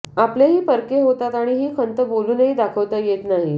आपलेही परके होतात आणि ही खंत बोलूनही दाखवता येत नाही